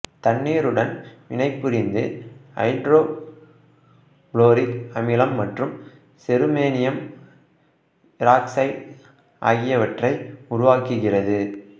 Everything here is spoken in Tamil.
தண்ணீருடன் வினைபுரிந்து ஐதரோ புளோரிக் அமிலம் மற்றும் செருமேனியம் ஈராக்சைடு ஆகியனவற்றை உருவாக்குகிறது